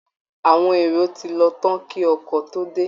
Àwọn èrò ti lọ tán kí ọkọ̀ tó dé